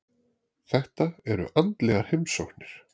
Þetta eru andlegar heimsóknir.